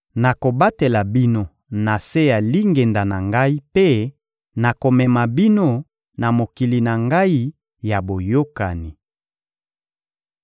Nakobatela bino na se ya lingenda na Ngai mpe nakomema bino na mokili na Ngai ya boyokani.